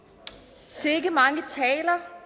sikke mange taler